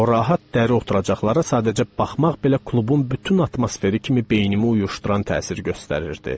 O rahat dəri oturacaqlara sadəcə baxmaq belə klubun bütün atmosferi kimi beynimi uyuşduran təsir göstərirdi.